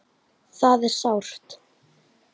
Það er sárt.